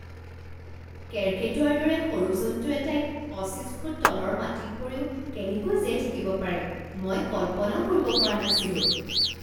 কেৰ্কেটুৱাৰ দৰে সৰু জন্তু এটাই পঁচিছ ফুট তলৰ মাটিত পৰিও কেনেকৈ জীয়াই থাকিব পাৰে মই কল্পনাও কৰিব পৰা নাছিলো।